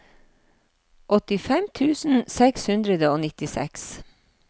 åttifem tusen seks hundre og nittiseks